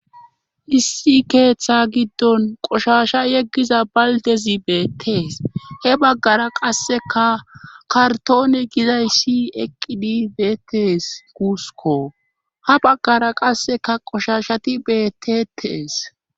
issi keeththa giddon qoshasha yeggiza baldezi beettees he baggara qasseka kartoone gizayshi eqqidi beettes guusko ha baggara qasseka qoshashati beettetees